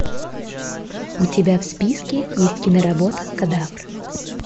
у тебя в списке есть киноработа кадавр